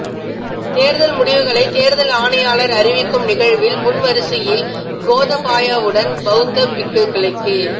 தேர்தல் முடிவுகளை தேர்தல் ஆணையாளர் அறிவிக்கும் நிகழ்வில் முன்வரிசையில் கோதபாயவுடன் பௌத்த பிக்குகளுக்கே